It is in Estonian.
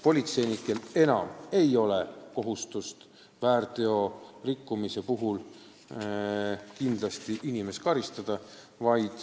Politseinikel ei ole enam kohustust väärteorikkumise eest kindlasti inimest karistada.